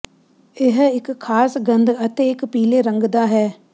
ਇਹ ਇੱਕ ਖਾਸ ਗੰਧ ਅਤੇ ਇੱਕ ਪੀਲੇ ਰੰਗ ਦਾ ਹੈ